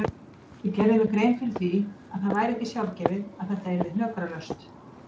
Ég gerði mér grein fyrir því að það væri ekki sjálfgefið að þetta yrði hnökralaust.